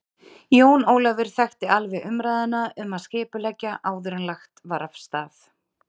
Jón Ólafur þekkti alveg umræðuna um að skipuleggja áður en lagt var af stað.